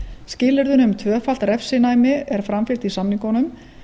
skilyrðin um tvöfalt refsinæmi er framfylgt í samningunum